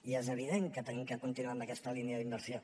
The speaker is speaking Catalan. i és evident que hem de continuar amb aquesta línia d’inversió